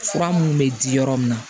Fura mun bɛ di yɔrɔ min na